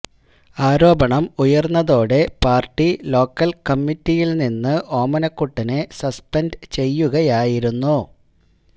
ആരോപണം ഉയര്ന്നതോടെ party local കമ്മറ്റിയില് നിന്ന് ഓമനക്കുട്ടനെ സസ്പെന്റു ചെയ്യുകയായിരുന്നു